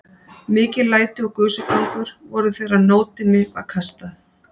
Mikil læti og gusugangur voru þegar nótinni var kastað.